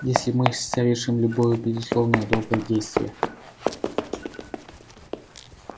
если мы совершим любое безусловно доброе действие